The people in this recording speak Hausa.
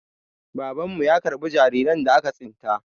Babanmu ya karɓi jariran da aka tsinta.